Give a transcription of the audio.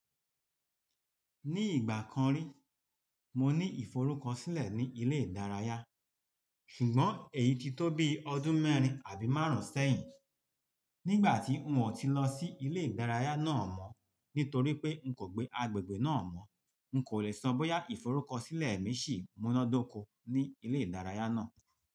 Ní ìgbà kan rí, mo ní ìforúkọsílẹ̀ ní ilé ìdárayá, ṣùgbọ́n èyí ti tó bi ọdún mẹ́rin àbí márùn-ún sẹ́yìn. Nígbà tí n ò ti lọ sí ilé ìdárayá náà mọ́, nítorí pé n kò gbé agbègbè náà mọ́, n kò le sọ bóyá ìforúkọsílẹ̀ mi ṣì múnádóko ní ilé ìdárayá náà.